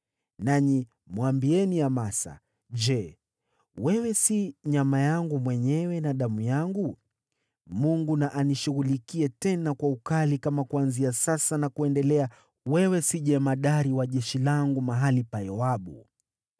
Nanyi mwambieni Amasa, ‘Je, wewe si nyama yangu mwenyewe na damu yangu? Mungu na anishughulikie, tena kwa ukali, kama kuanzia sasa na kuendelea wewe si jemadari wa jeshi langu mahali pa Yoabu.’ ”